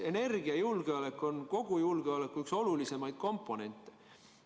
Energiajulgeolek on kogu julgeoleku üks olulisemaid komponente.